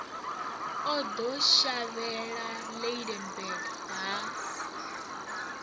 o ḓo shavhela lydenburg ha